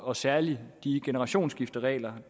og særlig de generationsskifteregler